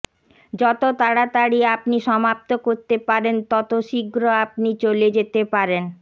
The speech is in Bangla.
যত তাড়াতাড়ি আপনি সমাপ্ত করতে পারেন যত শীঘ্র আপনি চলে যেতে পারেন